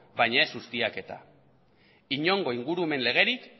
baina ez ustiaketa inongo ingurumen legerik